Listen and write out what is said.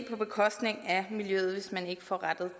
på bekostning af miljøet hvis man ikke får